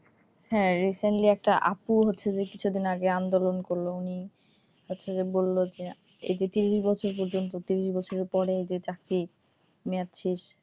হ্যাঁ, recently কিছু দিন আগে আপু হচ্ছে যে আন্দোলন করলো উনি হচ্ছে যে বললো এই যে ত্রিশ বছর পর্যন্ত ত্রিশ বছরের পরে যে চাকরির মেয়াদ শেষ,